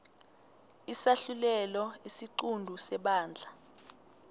isahlulelo isiqunto sebandla